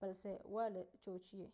balse waa la joojiyay